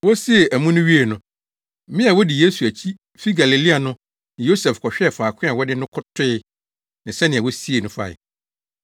Wosiee amu no wiee no, mmea a wodi Yesu akyi fi Galilea no ne Yosef kɔhwɛɛ faako a wɔde no toe ne sɛnea wosiee no fae.